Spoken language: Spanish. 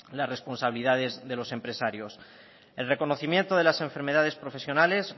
las responsabilidades de los empresarios el reconocimiento de las enfermedades profesionales